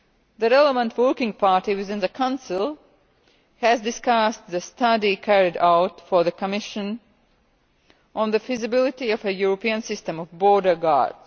The relevant working party within the Council has discussed the study carried out for the Commission on the feasibility of a European system of border guards.